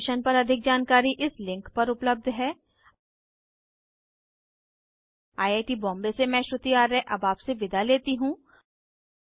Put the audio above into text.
इस मिशन पर अधिक जानकारी इस लिंक पर उपलब्ध है httpspoken tutorialorgNMEICT Intro I I T Bombay से मैं श्रुति आर्य अब आपसे विदा लेती हूँ